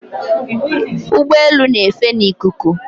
Ụgbọelu na-efe n'ikuku